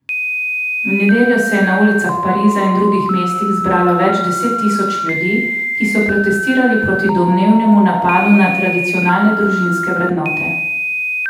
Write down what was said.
V nedeljo se je na ulicah Pariza in drugih mest zbralo več deset tisoč ljudi, ki so protestirali proti domnevnemu napadu na tradicionalne družinske vrednote.